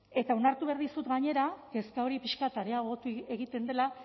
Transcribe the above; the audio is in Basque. eta onartu behar dizut gainera kezka hori pixka bat areagotu egiten dela